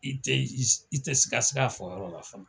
I tɛ i i i tɛ sigasiga a fɔ yɔrɔ la fana